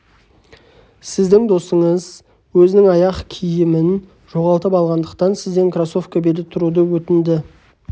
сіздің досыңыз өзінің аяқ киімін жоғалтып алғандықтан сізден кроссовка бере тұруды өтінді